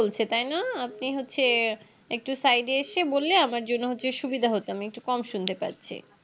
বলছে তাইনা আপনি হচ্ছে একটু Side এ এসে বলে আমার জন্য হচ্ছে সুবিধা হতো আমি একটু কম শুনতে পাচ্ছি